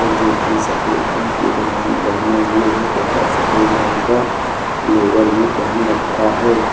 जो की सफेद रंग की बनियान पेहने हुए है तथा सफेद रंग का लोअर भी पेहन रखा है।